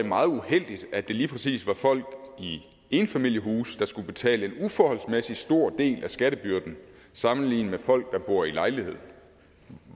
meget uheldigt at det lige præcis var folk i enfamiliehuse der skulle betale en uforholdsmæssig stor del af skattebyrden sammenlignet med folk der bor i lejlighed